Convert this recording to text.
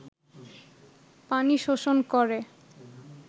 পানি শোষণ করে